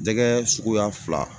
Jɛgɛ suguya fila